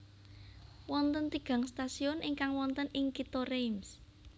Wonten tigang stasiun ingkang wonten ing Kitha Reims